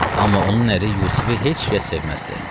Amma onun əri Yusifi heç kəs sevməzdi.